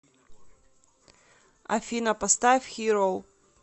афина поставь хир оу